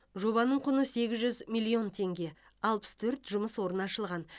жобаның құны сегіз жүз миллион теңге алпыс төрт жұмыс орны ашылған